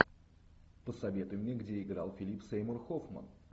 посоветуй мне где играл филип сеймур хоффман